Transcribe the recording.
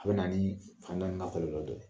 A bɛ na ni bana in n'a kɔlɔlɔ dɔ ye.